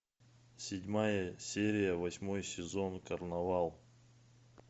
седьмая серия восьмой сезон карнавал